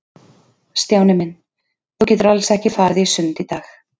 Stjáni minn, þú getur alls ekki farið í sund í dag.